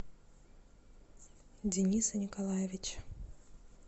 дениса николаевича